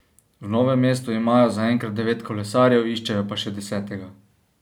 V Novem mestu imajo zaenkrat devet kolesarjev, iščejo pa še desetega.